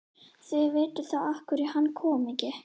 Þið vitið þá af hverju hann kom ekki.